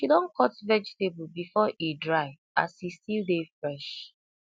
she don cut vegetable before e dry as e still dey fresh